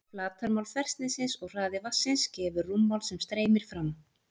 Flatarmál þversniðsins og hraði vatnsins gefur rúmmál sem streymir fram.